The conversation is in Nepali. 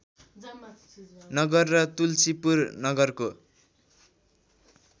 नगर र तुल्सीपुर नगरको